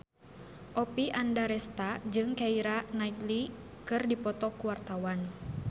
Oppie Andaresta jeung Keira Knightley keur dipoto ku wartawan